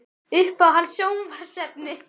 Uppáhalds sjónvarpsefni?